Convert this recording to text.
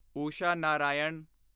Usha Narayan